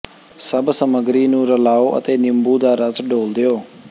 ਸਭ ਸਮੱਗਰੀ ਨੂੰ ਰਲਾਓ ਅਤੇ ਨਿੰਬੂ ਦਾ ਰਸ ਡੋਲ੍ਹ ਦਿਓ